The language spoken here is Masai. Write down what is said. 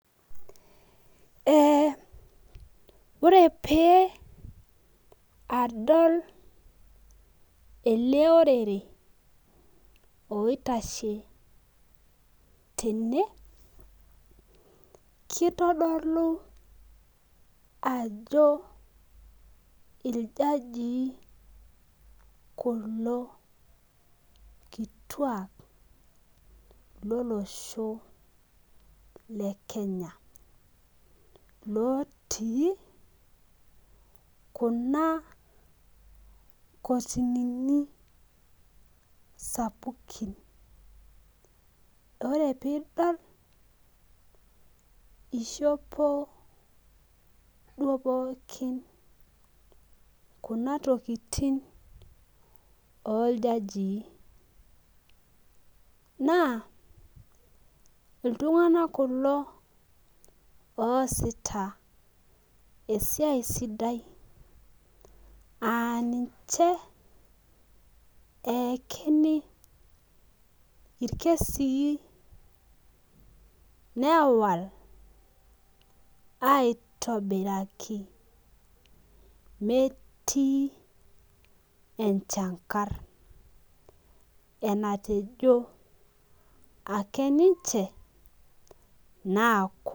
Ee ore pee adol ajo ele orere oitashe tene. kitodolu ajo iljajii kulo kituak lolosho le kenya. lotii Kuna kotinini, sapukin. ore pee idol ishopi duoo pookin Kuna tokitin oljajii. naa iltunganak kulo oosita esiai sidai aa ninche eekini illesii. newal, aitobiraki, metii enchankar enatejo ake ninche naaku.